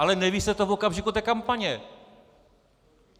Ale neví se to v okamžiku té kampaně!